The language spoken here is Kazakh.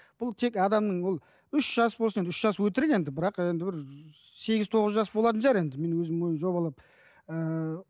бұл тек адамның ол үш жас болсын үш жас өтірік енді бірақ енді бір сегіз тоғыз жас болатын шығар енді менің өзім ойым жобалап ыыы